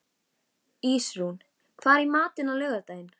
Ísrún, hvað er í matinn á laugardaginn?